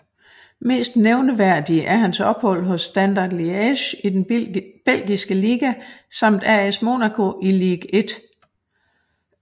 Mest nævneværdige er hans ophold hos Standard Liège i den belgiske liga samt AS Monaco i Ligue 1